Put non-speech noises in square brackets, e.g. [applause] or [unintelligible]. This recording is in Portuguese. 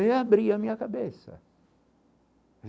[unintelligible] abria a minha cabeça.